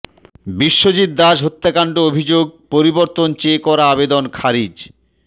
বিশ্বজিৎ দাস হত্যাকাণ্ড অভিযোগ পরিবর্তন চেয়ে করা আবেদন খারিজ